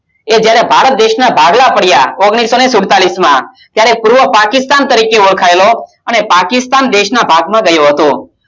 જયારે ભારત દેશ ના ભાગલા પડિયા ઓગણીસો સુલતાલીસ માં ત્યારે આ પૂર્વ પાકિસ્તાન તરીકે ઓળખાયયેલો અને પાકિસ્તાન દેશ નું ભાગમાં ગયું હતું